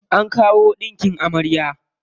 An kawo ɗinkin amarya.